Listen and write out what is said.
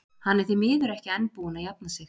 Hann er því miður ekki enn búinn að jafna sig.